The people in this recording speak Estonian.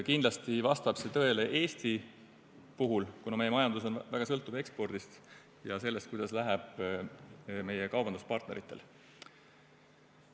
Kindlasti vastab see tõele Eesti puhul, kuna meie majandus on väga sõltuv ekspordist ja sellest, kuidas läheb meie kaubanduspartneritel.